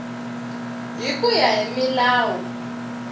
hi ku ya hi milawu